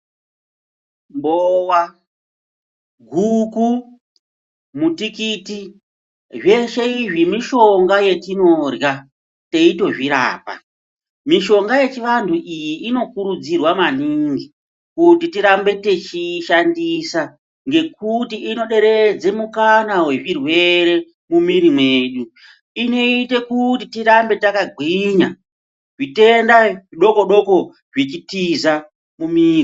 Mbowa, guku, mutikiti zveshe izvi mishonga yetinorya teitozvirapa. Mishonga yechivantu iyi inokurudzirwa maningi kuti tirambe techiishandisa ngekuti inoderedze mikana yezvirwere mumiri yedu. Inoite kuti tirambe takagwinya zvitenda zvidoko doko zvechitiza mumiri.